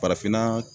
Farafinna